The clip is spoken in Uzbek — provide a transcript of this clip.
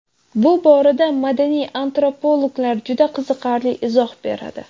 Bu borada madaniy antropologlar juda qiziqarli izoh beradi.